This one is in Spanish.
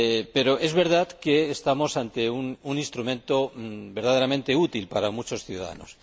Pero es verdad que estamos ante un instrumento verdaderamente útil para muchos ciudadanos.